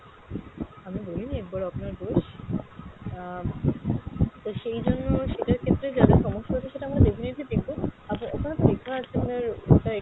আমি বলিনি একবারও আপনার দোষ, আহ তো সেই জন্য সেটার ক্ষেত্রে যা যা সমস্যা হচ্ছে সেটা আমরা definitely দেখবো, আপনার ওখানে তো লেখা আছে আপনার ওটা